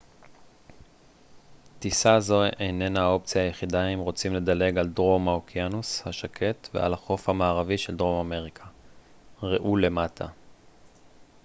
טיסה זו איננה האופציה היחידה אם רוצים לדלג על דרום האוקיינוס השקט ועל החוף המערבי של דרום אמריקה. ראו למטה